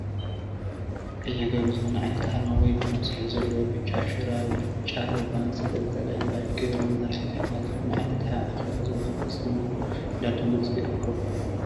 ቀይሕ ቆቢዕ ዝኾነ ዓይነት አርማ ወይ ድማ ፅሑፍ ዘለዎ፣ ብጫ ሹራብ ብጫ ረቫን ዝተንጠልጠላ ባጅ ገይሮ መራሕቲ ህወሓት ዝኾነ ዓይነት ኣብ ኣኬባ ዝወሃብ አስተምህሮ እንዳዳመፁ ይርከቡ፡፡